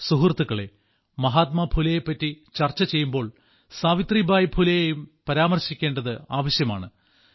സുഹൃത്തുക്കളേ മഹാത്മാ ഫുലെയെപ്പറ്റി ചർച്ച ചെയ്യുമ്പോൾ സാവിത്രിബായി ഫുലെയെയും പരാമർശിക്കേണ്ടത് ആവശ്യമാണ്